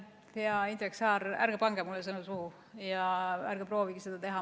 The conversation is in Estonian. Hea Indrek Saar, ärge pange mulle sõnu suhu ja ärge proovigegi seda teha.